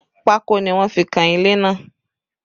Pako ni wọ́n fi kan ilé náà